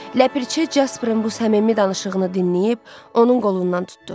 Ləpirçi Jasperin bu səmimi danışığını dinləyib, onun qolundan tutdu.